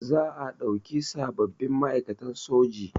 Za a ɗauki sababbin ma'aikatan soji